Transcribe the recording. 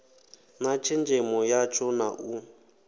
na tshenzhemo yatsho na u